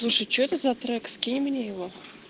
слушай что это за трек скинь мне его